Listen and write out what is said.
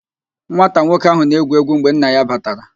Nwata nwoke ahụ na-egwu egwu mgbe nna ya batara